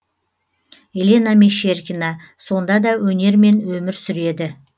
елена мещеркина сонда да өнермен өмір сүреді